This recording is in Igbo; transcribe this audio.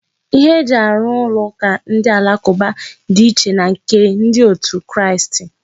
Ihe eji arụ ụlọ ụka ndị alakụba dị iche na nke ndị otu Kristi.